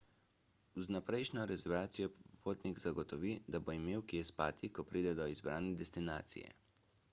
z vnaprejšnjo rezervacijo si popotnik zagotovi da bo imel kje spati ko pride do izbrane destinacije